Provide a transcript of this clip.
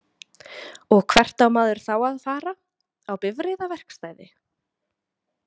Og hvert á maður þá að fara, á bifreiðaverkstæði?